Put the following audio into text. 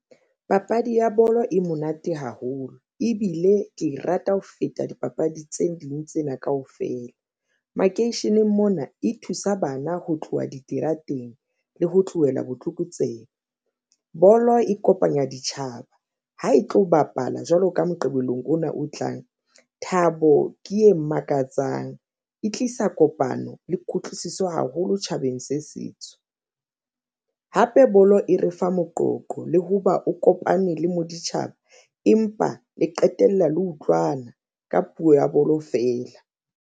Papadi ya bolo e monate haholo ebile ke e rata ho feta dipapadi tse ding tsena kaofela makeisheneng mona e thusa bana ho tloha diterateng le ho tlohela botlokotsebe bolo e kopanya ditjhaba ha e tlo bapala jwalo ka Moqebelong ona o tlang. Thabo ke e makatsang e tlisa kopano le kutlwisiso haholo tjhabeng se setso hape bolo e re fa moqoqo le ho ba o kopane le moditjhaba empa le qetella le utlwana ka puo ya bolo feela.